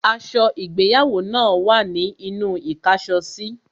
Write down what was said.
Aṣọ ìgbéyàwó náà wà ní inú īkáso sí